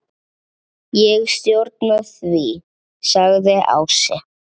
Ég stjórna því, sagði Ási.